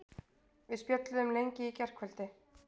Við spjölluðum lengi í gærkvöldi.